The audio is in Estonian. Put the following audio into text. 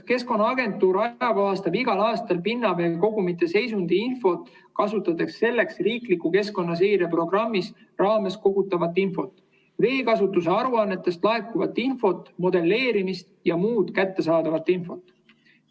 " Keskkonnaagentuur ajakohastab igal aastal pinnaveekogumite seisundiinfot, kasutades selleks riikliku keskkonnaseireprogrammi raames kogutavat infot, veekasutuse aruannetest laekuvat infot, modelleerimist ja muud kättesaadavat infot.